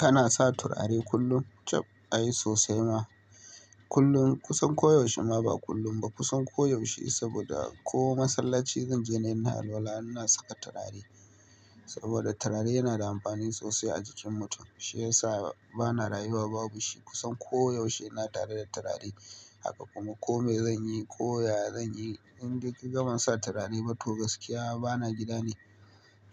Kana sa turare kullum? Chab ai sosai ma. Kullum kusan koyaushe ma ba kullum ba, kusan koyaushe saboda ko masallaci zan je ne ina alwala ina saka turare. Saboda turare yana da amfani sosai a jikin mutum. Shi ya sa bana rayuwa babu shi. Kusan koyaushe ina tare da turare. Haka kuma kome zanyi, koya zanyi, idan kaga ba sa turare to gaskiya bana gida ne.